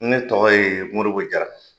Ne tɔgɔ ye moribo jara